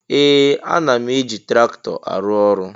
Ee! Ana m eji traktọ arụ ọrụ.